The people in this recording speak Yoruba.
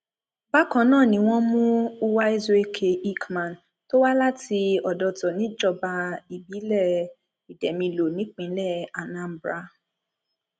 bákan náà ni wọn mú uwaezuoke ickman tó wá láti ọdọtọ níjọba ìbílẹ ìdèmilọ nípínlẹ anambra